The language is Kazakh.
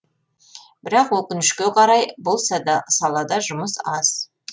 бірақ өкінішке қарай бұл салада жұмыс аз